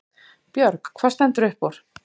Björg: Hvað stendur upp úr?